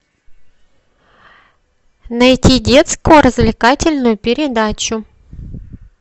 найти детскую развлекательную передачу